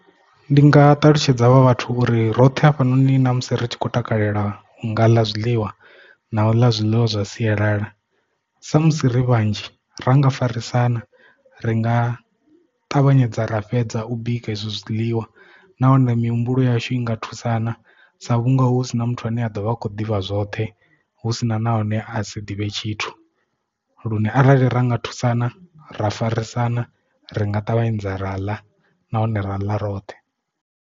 Ndi nga ṱalutshedza ha vha vhathu uri roṱhe hafhanoni na musi ri tshi khou takalela u nga ḽa zwiḽiwa na u ḽa zwiḽiwa zwa sialala sa musi ri vhanzhi ra nga farisana ri nga ṱavhanyedza ra fhedza u bika izwo zwiḽiwa nahone mihumbulo yashu i nga thusana sa vhunga hu si na muthu ane a ḓovha a khou ḓivha zwoṱhe husina nahone a si ḓivhe tshithu lune arali ra nga thusana ra farisana ri nga ṱavhanyedza ra ḽa nahone ra ḽa roṱhe.